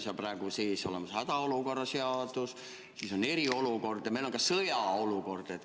Meil on praegu hädaolukorra seadus, me teame, mis on eriolukord ja mis on sõjaseisukord.